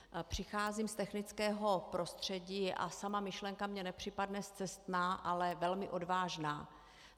Přicházím z technického prostředí a sama myšlenka mi nepřipadne scestná, ale velmi odvážná.